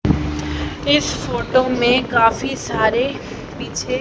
इस फोटो में काफी सारे पीछे--